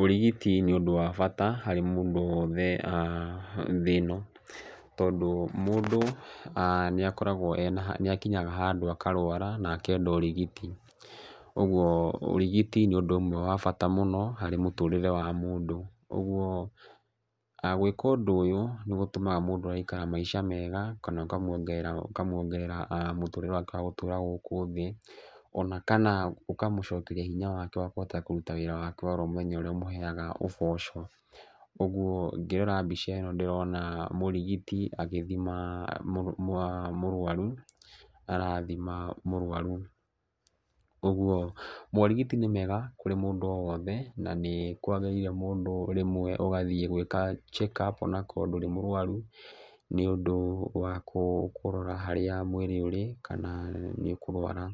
Ũrigiti nĩ ũndũ wa bata harĩ mũndũ wothe thĩ ĩno, tondũ mũndũ nĩ akoragwo ena, nĩ akinyaga handũ akarũara akenda ũrigiti. Ũguo, ũrigiti nĩ ũndũ ũmwe wa bata mũno harĩ mũtũũrĩre wa mũndũ. Ũguo, gwĩka ũndũ ũyũ nĩ gũtũmaga mũndũ agaikara maica kana ũkamuongerera ũkamuongerera mũtũũrĩre wake wa gũkũ thĩ, ona kana ũkamũcokeria hinya wake wa kũhota kũruta wĩra wake oro mũthenya ũrĩa ũmũheaga ũboco. Ũguo ngĩrora mbica ĩno ndĩrona mũrigiti agĩthima mũrũaru, arathima mũrũaru. Ũguo morigiti nĩ mega kũrĩ mũndũ o wothe na nĩ kwagĩrĩire mũndũ rĩmwe ũgathiĩ gwĩka check up ona akorwo ndũrĩ mũrwaru, nĩ ũndũ wa kũrora harĩa mwĩrĩ ũrĩ kana nĩ ũkũrũara.